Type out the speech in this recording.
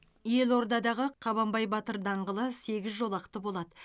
елордадағы қабанбай батыр даңғылы сегіз жолақты болады